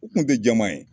U kun tɛ jɛman ye